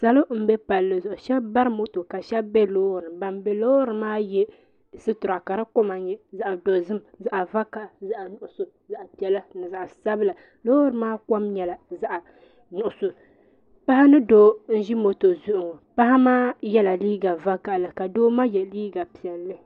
salo n bɛ palli zuɣu shab bari moto ka shab bɛ loori ban bari moto maa sotira nyɛ zaɣ dozim zaɣ nuɣso zaɣ piɛla ni zaɣ sabila loori maa kom nyɛla zaɣ nuɣso paɣa ni doo n ʒi moto zuɣu ŋɔ paɣa maa yɛla liiga vakaɣali ka doo maa yɛ liiga piɛlli